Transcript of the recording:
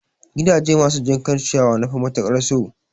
Gidaje masu jinkan ciyawa nafi matukar so